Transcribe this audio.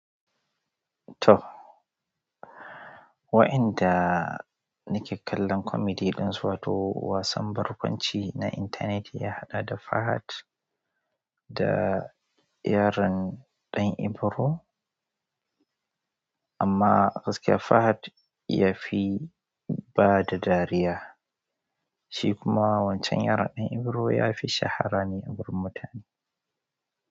To, waɗanda nake kallon comedy ɗin su, wato wasan barkwanci na intanet ya haɗa da Fahad da yaron ɗan Ibro. Amma gaskiya, Fahad ya fi bada dariya, shi kuma wancan yaron ɗan Ibro ya fi shaharar ni a wurin mutane.